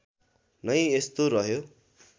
नै यस्तो रह्यो